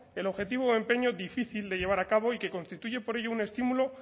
el objetivo de empeño difícil de llevar a cabo y que constituye por ello un estímulo